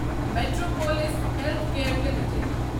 Metropolis Healthcare limited